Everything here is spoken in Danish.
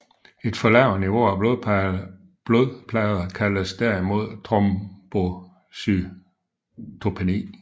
Et for lavt niveau af blodplader kaldes derimod trombocytopeni